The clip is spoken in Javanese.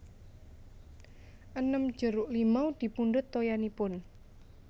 enem jeruk limau dipundhut toyanipun